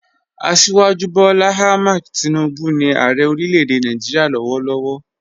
Asíwájú Bọ́lá Àhmẹ̀d Tìnúbu ni Ààrẹ̀ orílẹ̀-èdè Nàìjíríà lọ́wọ̀lọ́wọ̀